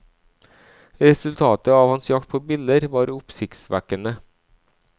Resultatet av hans jakt på biller var oppsiktsvekkende.